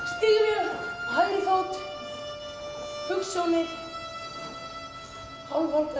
stígvél af hægri fót hugsjónir hálfvolgar